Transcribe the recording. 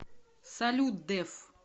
салют дэф